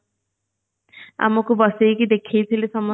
ଆମକୁ ବସେଇକି ଦେଖେଇଥିଲେ ସମସ୍ତଙ୍କୁ